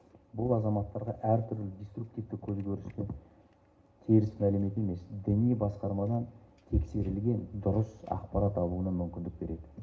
бұл азаматтарға әртүрлі диструктивті көзкөрістер теріс мәлімет емес діни басқармадан тексерілген дұрыс ақпарат алуына мүмкіндік береді